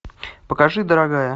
покажи дорогая